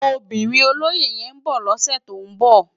Óbirin ólóyé yèn n bò lòsè tó n bò